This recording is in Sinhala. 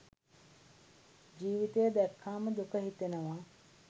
ජීවිතය දැක්කාම දුක හිතෙනවා.